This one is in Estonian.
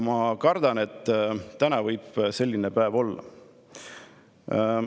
Ma kardan, et täna võib selline päev olla.